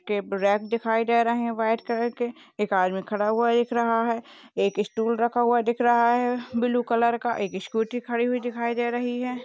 Rap दिखाई दे रहे हैं व्हाइट कलर के। एक आदमी खड़ा हुआ दिख रहा है। एक स्टूल रखा हुआ है दिख रहा है ब्ल्यू कलर का एक स्कूटी खड़ी हुई दिखाई दे रही है।